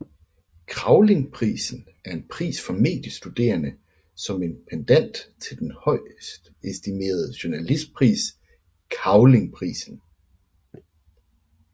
Kravlingprisen er en pris for mediestuderende som en pendant til den højtestimerede journalistpris Cavlingprisen